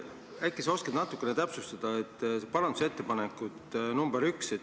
Aga äkki sa oskad natukene täpsustada parandusettepanekut nr 1.